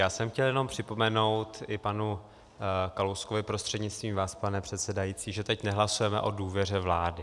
Já jsem chtěl jenom připomenout i panu Kalouskovi, prostřednictvím vás, pane předsedající, že teď nehlasujeme o důvěře vládě.